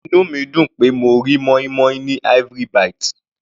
Inú mi dùn pé mo rí moin-moin ní Ivory -bite.